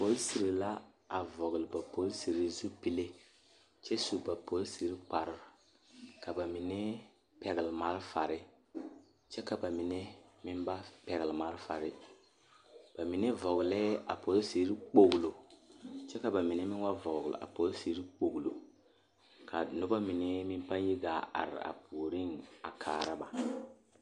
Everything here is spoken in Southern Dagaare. Polisiri la a vɔgle a ba polisiri zupile kyɛ su ba polisiri kpare ka ba mine pɛgle malfare kyɛ ka ba mine meŋ ba pɛgle malfare baine vɔglɛɛ a polisiri kpoglo kyɛ ka ba mine meŋ ba vɔgle a polisiri kpoglo a noba mine meŋ pãâ yi gaa are a puoriŋ a kaara ba.